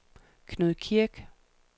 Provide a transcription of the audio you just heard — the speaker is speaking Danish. Knud Kirk